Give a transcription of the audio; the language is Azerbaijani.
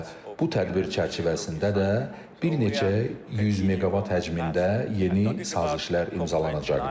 Və bu tədbir çərçivəsində də bir neçə 100 meqavat həcmində yeni sazişlər imzalanacaqdır.